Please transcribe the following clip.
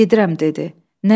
Gedirəm dedi.